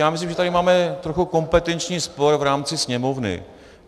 Já myslím, že tady máme trochu kompetenční spor v rámci Sněmovny.